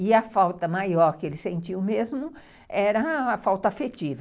E a falta maior que ele sentiu mesmo era a falta afetiva.